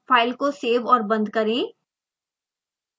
file को save और बंद करें